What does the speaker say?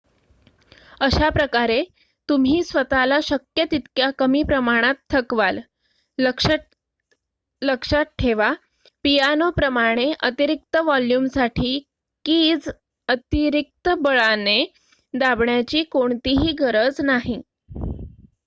अशाप्रकारे तुम्ही स्वतःला शक्य तितक्या कमी प्रमाणात थकवाल लक्षात ठेवा पियानोप्रमाणे अतिरिक्त वॉल्युमसाठी कीज अतिरिक्त बळाने दाबण्याची कोणतीही गरज नाही